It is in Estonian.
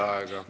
Aitäh! ...